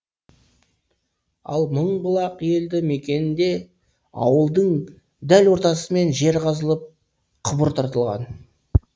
ал мыңбұлақ елді мекенінде ауылдың дәл ортасымен жер қазылып құбыр тартылған